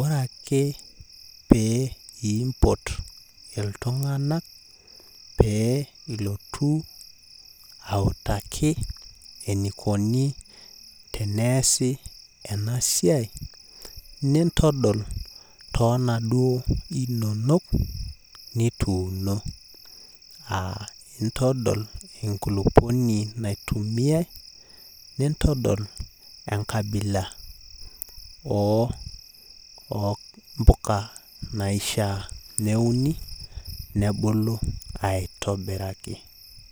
Ore ake, pee impot iltung'anak pee ilotu, autaki enikoni teneesi enasiai, nintodol tonaduo inonok, nituuno. Ah intodol enkulupuoni naitumiai, nintodol enkabila ompuka naishaa neuni, nebulu aitobiraki.